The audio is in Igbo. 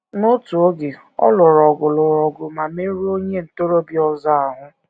N’otu oge, ọ lụrụ ọgụ lụrụ ọgụ ma merụọ onye ntorobịa ọzọ ahụ.